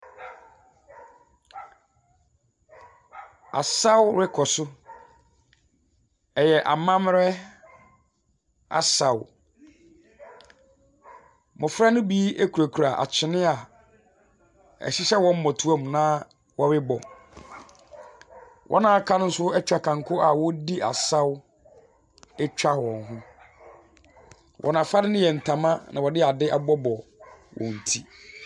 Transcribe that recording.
Asaw rokɔ do. Ɔyɛ amambra asaw. Mbofra no bi kurakura akyene a ɛhyehyɛ hɔn ambɔtoamu na wɔrobɔ. Hɔn a wɔaka no nso atwa kanko a wɔredi asaw retwa hɔn ho. Hɔn afadze no yɛ ntama, na wɔdze adze abobɔbobɔ hɔn tsir.